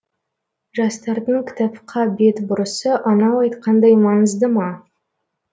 жастардың кітапқа бет бұрысы анау айтқандай маңыздыма